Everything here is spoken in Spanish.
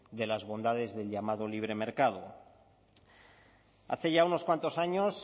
de las bondades del llamado libre mercado hace ya unos cuantos años